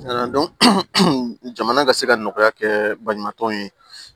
jamana ka se ka nɔgɔya kɛ balimatɔw ye